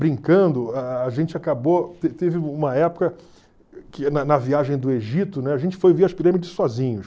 Brincando, gente acabou te teve uma época que na na viagem do Egito, a gente foi ver as pirâmides sozinhos.